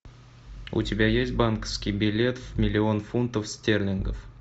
у тебя есть банковский билет в миллион фунтов стерлингов